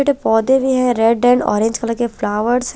But पोधे भी है रेड एंड ओरेंग कलर के फ्लावर्स है।